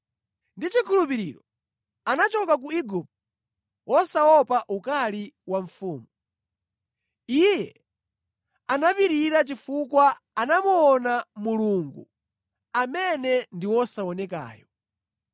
Ndi chikhulupiriro anachoka ku Igupto wosaopa ukali wa mfumu. Iye anapirira chifukwa anamuona Mulungu amene ndi wosaonekayo.